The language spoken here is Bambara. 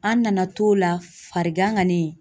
An nana t'o la, farigan kani